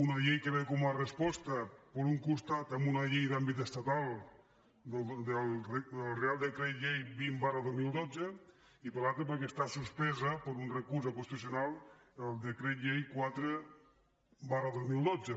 una llei que ve com a resposta per un costat a una llei d’àmbit estatal del reial decret llei vint dos mil dotze i per l’altre perquè està suspesa per un recurs del constitucional el decret llei quatre dos mil dotze